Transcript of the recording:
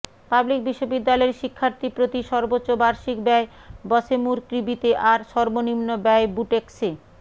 public বিশ্ববিদ্যালয়ের শিক্ষার্থীপ্রতি সর্বোচ্চ বার্ষিক ব্যয় বশেমুরকৃবিতে আর সর্বনিম্ন ব্যয় বুটেক্সে